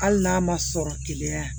Hali n'a ma sɔrɔ keleya